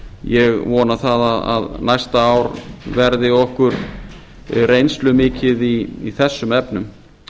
ég vona að næsta ár verði okkur reynslumikið í þessum efnum